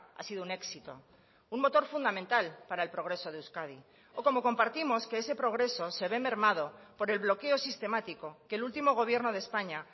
ha sido un éxito un motor fundamental para el progreso de euskadi o como compartimos que ese progreso se ve mermado por el bloqueo sistemático que el último gobierno de españa